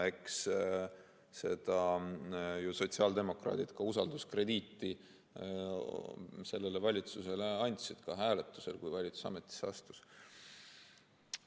Eks ju sotsiaaldemokraadid andsid usalduskrediiti sellele valitsusele ka hääletusel, kui valitsus ametisse astus.